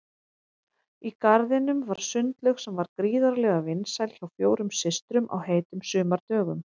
Í garðinum var sundlaug sem var gríðarlega vinsæl hjá fjórum systrum á heitum sumardögum.